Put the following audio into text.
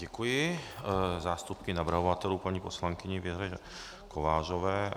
Děkuji zástupkyni navrhovatelů, paní poslankyni Věře Kovářové.